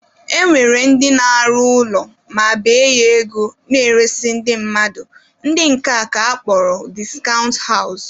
E nwere ndị na-alụ ụlọ ma bee ya ego na-eresị ndị mmadụ, ndị nke a ka akpọrọ discount house